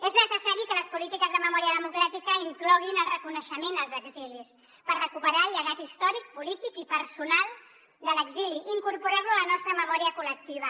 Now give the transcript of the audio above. és necessari que les polítiques de memòria democràtica incloguin el reconeixement als exilis per recuperar el llegat històric polític i personal de l’exili i incorporar lo a la nostra memòria col·lectiva